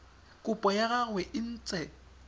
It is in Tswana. kopo ya gagwe e ntse